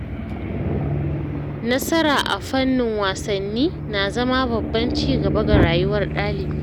Nasara a fannin wasanni na zama babban ci gaba ga rayuwar ɗalibi.